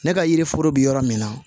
Ne ka yiri foro be yɔrɔ min na